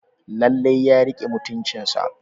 Lallai ya rike mutuncinsa.